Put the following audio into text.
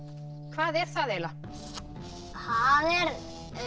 hvað er það það er